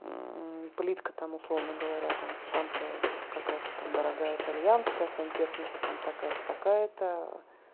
плитка там условно говоря там там то какая-то там дорогая итальянская сантехника там такая-то такая-то